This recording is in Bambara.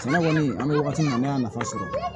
Sɛnɛ kɔni an bɛ wagati min na ne y'a nafa sɔrɔ